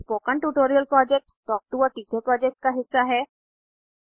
spoken tutorial project talk to a teacher project का हिस्सा है